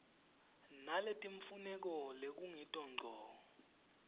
naletimfuneko lekungito ngco